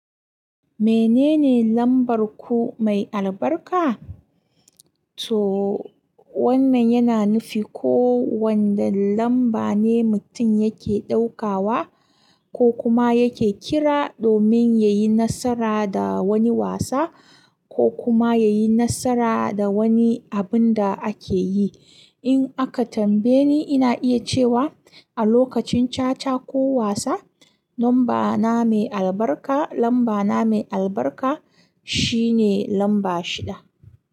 Menene lambar ku mai albarka? To wannan yana nufi ko wanda lamba ne mutum yake ɗaukawa ko kuma yake kira domin ya yi nasara da wani wasa ko kuma ya yi nasara da wani abun da ake yi. In aka tambaye ni, ina iya cewa a lokacin caca ko wasa, lamba na mai albarka, lamba na mai albarka shine lamba shida.